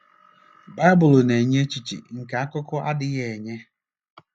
Baịbụl na-enye echiche nke akụkọ adịghị enye.